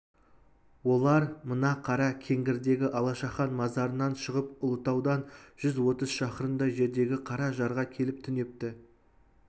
олар мына қара кеңгірдегі алашахан мазарынан шығып ұлытаудан жүз отыз шақырымдай жердегі қара жарға келіп түнепті